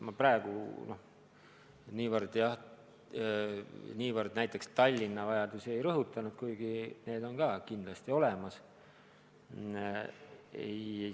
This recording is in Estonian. Ma praegu niivõrd Tallinna vajadusi ei rõhutanud, kuigi need on ka kindlasti olemas.